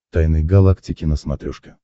тайны галактики на смотрешке